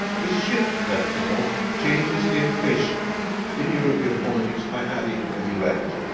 This shift therefore changes the equation in European politics by adding a new actor.